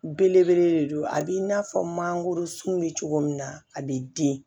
Belebele de don a b'i n'a fɔ mangoro sun bɛ cogo min na a bɛ den